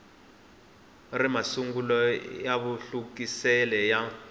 ri masungulo ya mahluvukisele ya